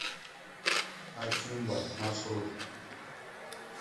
акимбо маршрут